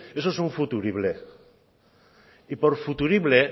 eso es un futurible y por futurible